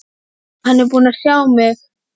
Hann er búinn að sjá mig!